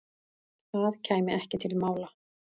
Það kæmi ekki til mála.